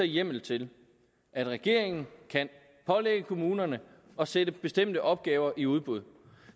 hjemmel til at regeringen kan pålægge kommunerne at sætte bestemte opgaver i udbud